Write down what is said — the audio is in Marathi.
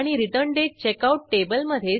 तुम्ही वेगवेगळ्या एरर्ससाठी सराव करून बघा